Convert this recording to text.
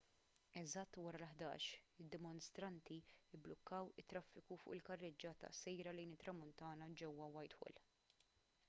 eżatt wara l-11:00 id-dimostranti mblukkaw it-traffiku fuq il-karreġġjata sejra lejn it-tramuntana ġewwa whitehall